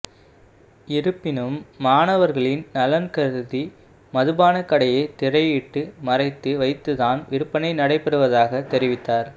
இருப்பினும் மாணவா்களின் நலன் கருதி மதுபானக்கடையை திரையிட்டு மறைத்து வைத்து தான் விற்பனை நடைபெறுவதாக தெரிவித்தார்